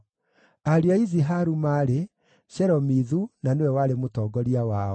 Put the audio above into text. Ariũ a Iziharu maarĩ: Shelomithu na nĩwe warĩ mũtongoria wao.